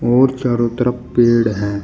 और चारों तरफ पेड़ हैं।